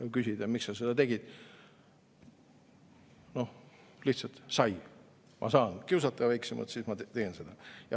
Kui küsida, miks sa seda tegid, siis on vastus, et oh, lihtsalt kui ma saan kiusata väiksemat, siis ma teen seda.